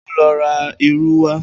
O óò lo̩ ra irú wá!